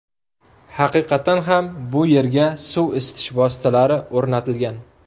Haqiqatdan ham, bu yerga suv isitish vositalari o‘rnatilgan.